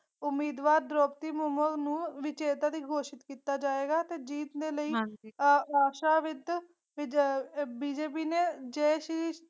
ਉਮੀਦਵਾਰ ਦ੍ਰੋਪਦੀ ਮੁ ਮੁ ਮੁਰਮੂ ਵਿਜੇਤਾ ਵੀ ਘੋਸ਼ਿਤ ਕੀਤਾ ਜਾਏਗਾ ਤੇ ਜੀਤ ਦੇ ਲਈ ਆਹ ਆਹ BJP ਨੇ ਜੈ ਸ਼੍ਰੀ।